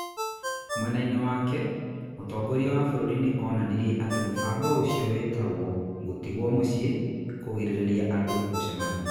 Mwena-inĩ wake, mũtongoria wa bũrũri nĩ onanirie atĩ mũbango ũcio wĩtagwo "ngũtigwo mucii" - kũgiria andũ gũcemania.